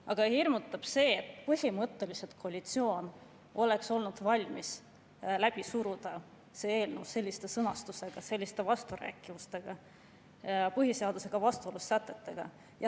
Aga hirmutab see, et põhimõtteliselt oleks koalitsioon olnud valmis läbi suruma eelnõu sellises sõnastuses, selliste vasturääkivustega, põhiseadusega vastuolus olevate sätetega.